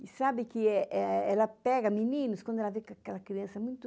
E sabe que é é... ela pega meninos quando ela vê que aquela criança é muito...